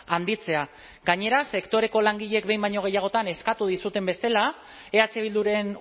handitzea gainera sektoreko langileek behin baino gehiagotan eskatu dizuten bezala eh bilduren